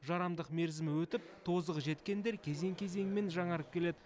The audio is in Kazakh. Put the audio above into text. жарамдық мерзімі өтіп тозығы жеткендер кезең кезеңімен жаңарып келеді